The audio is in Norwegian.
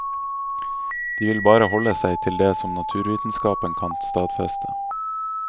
De vil bare holde seg til det som naturvitenskapen kan stadfeste.